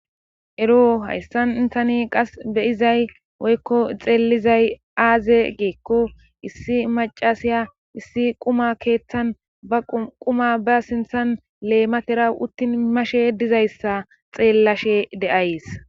ero hayssan intani qas beyizay woykko xeelizay aaze geekko issi macasiya issi quma keeththan ba quma ba sinthan leematera uttin mashe dizayssa xeellashe de7ays